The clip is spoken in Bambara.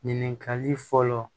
Ɲininkali fɔlɔ